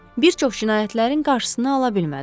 Bir çox cinayətlərin qarşısını ala bilmədim.